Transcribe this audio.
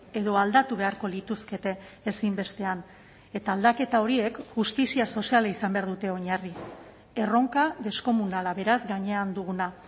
edo aldatu beharko lituzkete ezinbestean eta aldaketa horiek justizia soziala izan behar dute oinarri erronka deskomunala beraz gainean duguna